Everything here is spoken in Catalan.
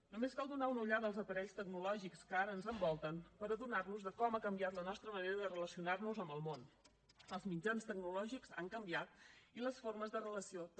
només cal donar una ullada als aparells tecnològics que ara ens envolten per adonar nos de com ha canviat la nostra manera de relacionar nos amb el món els mitjans tecnològics han canviat i les formes de relació també